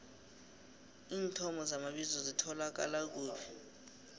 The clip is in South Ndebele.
iinthomo zamabizo zitholakala kuphi